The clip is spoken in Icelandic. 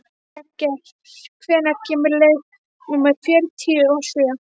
Jagger, hvenær kemur leið númer fjörutíu og sjö?